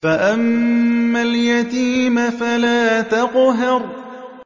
فَأَمَّا الْيَتِيمَ فَلَا تَقْهَرْ